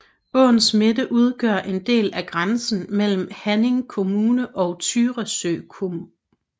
Åens midte udgør en del af grænsen mellem Haninge kommun og Tyresö kommun